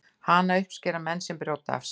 hana uppskera menn sem brjóta af sér